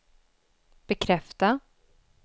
bekräfta